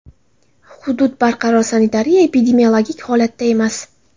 Hudud barqaror sanitariya-epidemiologik holatda emas.